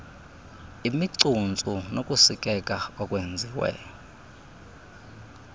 imicuntsu nokusikeka okwenziwe